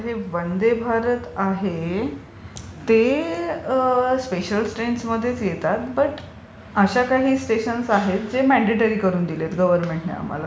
आता हे वंदे भारत आहे ते स्पेशल ट्रेन्समध्येच येतात पण अशा काही स्टेशन्स आहेत जे मॅनडेटरी करून दिलेत गव्हर्नमेंटने आम्हाला.